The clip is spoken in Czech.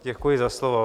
Děkuji za slovo.